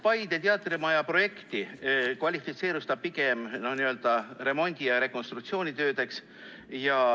Paide teatrimaja projekt kvalifitseerus pigem n‑ö remondi‑ ja rekonstruktsioonitöödeks.